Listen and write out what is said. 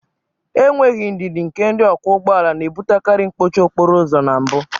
Enweghị ndidi nke ndị ọkwọ ụgbọala na-ebutekarị mkpọchi okporo ụzọ na mbụ